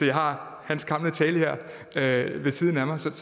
jeg har hans gamle tale her ved siden af mig så det